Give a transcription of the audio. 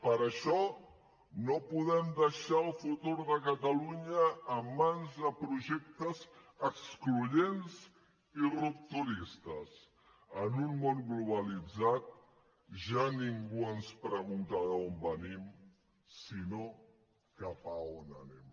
per això no podem deixar el futur de catalunya en mans de projectes excloents i rupturistes en un món globalitzat ja ningú ens pregunta d’on venim sinó cap a on anem